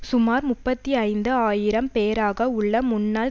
சுமார் முப்பத்தி ஐந்து ஆயிரம் பேராக உள்ள முன்நாள்